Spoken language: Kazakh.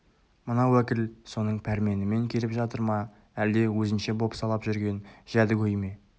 мына уәкіл соның пәрменімен келіп жатыр ма әлде өзінше бопсалап жүрген жәдігөй ме